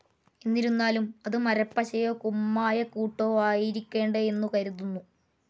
എന്നിരുന്നാലും അത് മരപ്പശയോ കുമ്മായക്കൂട്ടോ ആയിരിക്കേണ്ടിയുണ്ടെന്നു കരുതുന്നു.